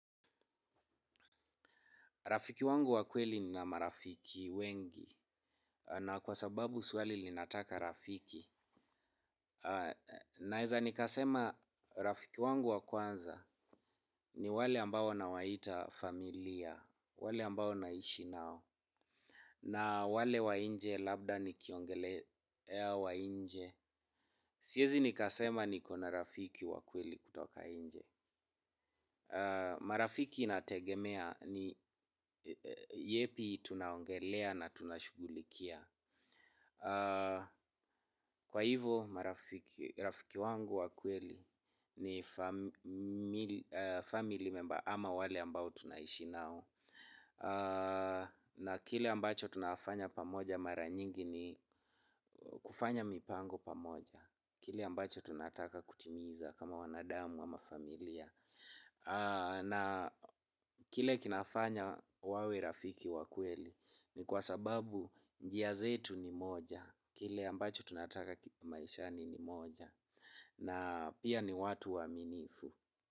Rafiki wangu wa kweli nina marafiki wengi na kwa sababu swali linataka rafiki. Naeza nikasema rafiki wangu wa kwanza ni wale ambao nawaita familia, wale ambao naishi nao na wale wa inje labda nikiongelea wa inje. Siezi nikasema niko na rafiki wa kweli kutoka inje. Marafiki inategemea ni yepi tunaongelea na tunashugulikia. Kwa hivyo marafiki wangu wa kweli ni family member ama wale ambao tunaishi nao na kile ambacho tunafanya pamoja mara nyingi ni kufanya mipango pamoja kile ambacho tunataka kutimiza kama wanadamu ama familia. Na kile kinafanya wawe rafiki wa kweli ni kwa sababu njia zetu ni moja. Kile ambacho tunataka maishani ni moja na pia ni watu waaminifu.